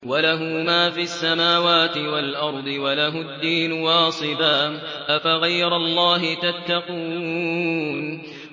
وَلَهُ مَا فِي السَّمَاوَاتِ وَالْأَرْضِ وَلَهُ الدِّينُ وَاصِبًا ۚ أَفَغَيْرَ اللَّهِ تَتَّقُونَ